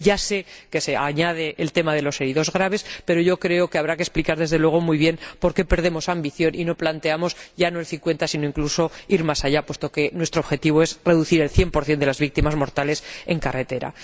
Ya sé que se añade el tema de los heridos graves, pero creo que habrá que explicar, desde luego, muy bien, por qué perdemos ambición y no planteamos ya no el 50 sino incluso más, puesto que nuestro objetivo es reducir el 100 de las víctimas mortales en carretera.